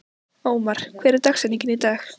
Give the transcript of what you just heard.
Ómar, hver er dagsetningin í dag?